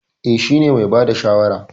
Eh, shi ne mai bada shawara.